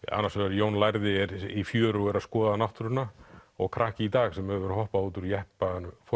annars vegar Jón lærði er í fjöru að skoða náttúruna og krakki í dag sem hefur hoppað út úr jeppanum